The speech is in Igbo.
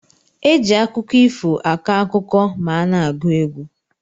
Eji akụkọ ifo akọ akụkọ ma ana agu egwu.